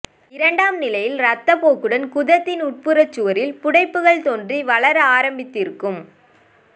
இரண்டாம் நிலையில் இரத்தப் போக்குடன் குதத்தின் உட்புற சுவரில் புடைப்புகள் தோன்றி வளர ஆரம்பித்து இருக்கும்